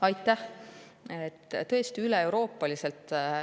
Aitäh!